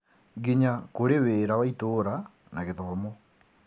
nginya kũrĩ wĩra wa itũra na gĩthomo.